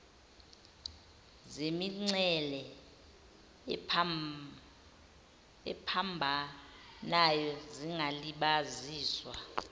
zemingcele ephambanayo zingalibaziswa